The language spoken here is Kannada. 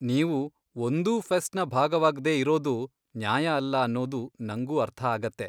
ನೀವು ಒಂದೂ ಫೆಸ್ಟ್ನ ಭಾಗವಾಗ್ದೇ ಇರೋದು ನ್ಯಾಯ ಅಲ್ಲ ಅನ್ನೋದು ನಂಗೂ ಅರ್ಥ ಆಗತ್ತೆ.